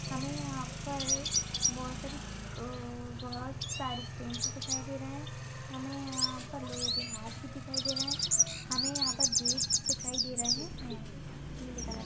हमें यहां पर- बहुत सारी--अ बहुत सारी स्टेट्स दिखाई दे रहे हैं हमें यहां पर लोगों के हाथ भी दिखाई दे रहा है हमें यहां पर गेट दिखाई दे रहे हैंपील कलर